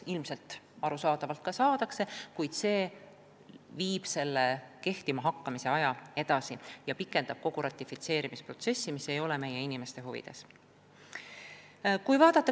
Ilmselt see ka saadakse, kuid see lükkab jõustumise aja edasi ja pikendab kogu ratifitseerimisprotsessi, mis ei ole meie inimeste huvides.